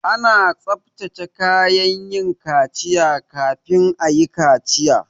Ana tsabtace kayan yin kaciya kafin ayi kaciya